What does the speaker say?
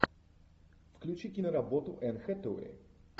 включи киноработу энн хэтэуэй